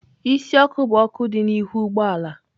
Isi ọkụ bụ ọkụ dị n'ihu ụgbọ ala.